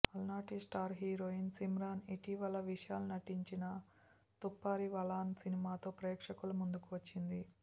అలనాటి star heroine Simran ఇటీవల విశాల్ నటించిన తుప్పరివాలన్ సినిమాతో ప్రేక్షకుల ముందుకు వచ్చింది